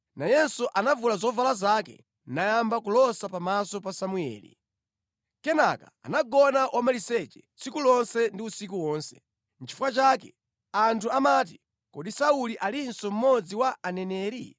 Nayenso anavula zovala zake nayamba kulosa pamaso pa Samueli. Kenaka anagona wamaliseche tsiku lonse ndi usiku wonse. Nʼchifukwa chake anthu amati, “Kodi Sauli alinso mmodzi wa aneneri?”